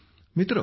मित्रहो